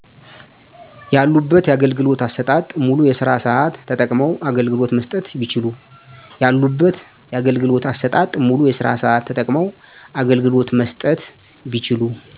ያሉበት ያገልግሎት አሰጣጥ ሙሉ የስራ ሰአት ተጠቅመዉ አገልግሎት መስጠት ቢችሉ